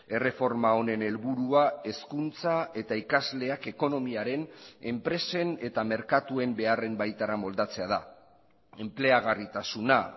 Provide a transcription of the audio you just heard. erreforma honen helburua hezkuntza eta ikasleak ekonomiaren enpresen eta merkatuen beharren baitara moldatzea da enpleagarritasuna